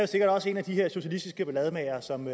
sikkert også en af de her socialistiske ballademagere som